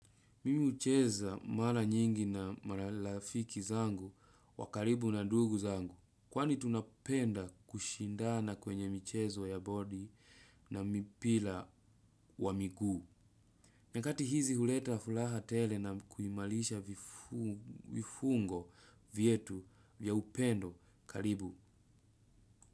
Mimi hucheza mara nyingi na marafiki zangu wakaribu na ndugu zangu. Kwani tunapenda kushindana kwenye michezo ya body na mipira wa migu. Nyakati hizi huleta fulaha tele na kuimalisha vifungo vyetu vya upendo karibu.